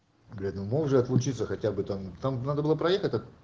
блять ну можно отлучиться хотя бы там там надо было проехать та